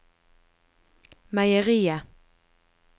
meieriet